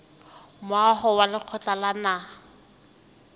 moaho wa lekgotla la naha